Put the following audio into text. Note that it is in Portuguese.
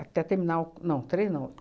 Até terminar o... Não, três não.